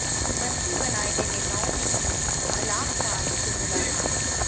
मंत्री बनाए गए नेताओं ने की आलाकमान से मुलाकात